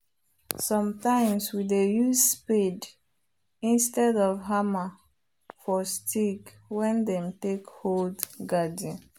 sometimes we dey use spade instead of hammer for stick wen them take hold garden